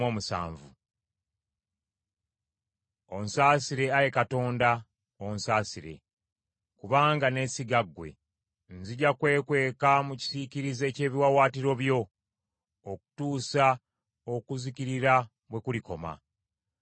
Onsaasire, Ayi Katonda, onsaasire, kubanga neesiga ggwe. Nzija kwekweka mu kisiikirize ky’ebiwaawaatiro byo okutuusa okuzikirira bwe kulikoma.